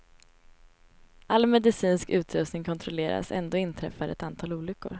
All medicinsk utrustning kontrolleras ändå inträffar ett antal olyckor.